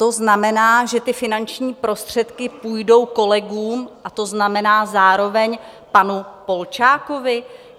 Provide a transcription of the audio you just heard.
To znamená, že ty finanční prostředky půjdou kolegům, a to znamená zároveň panu Polčákovi?